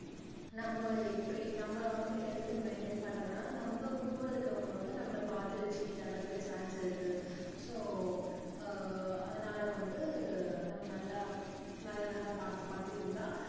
நம்ம இப்படி நம்ம வந்து health த maintain பண்றதுனால நம்ம கூட இருக்கவங்க வந்து நம்மள பார்த்துட்டு change ஆகுறதுக்கு chance இருக்கு so ஆஹ் அதனால வந்து நம்ம நல்லா நல்லா நல்லா பார்த்து பார்த்து இருந்தா